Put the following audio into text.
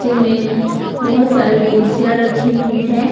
में बहुत सारी कुर्सियां रखी हुई हैं।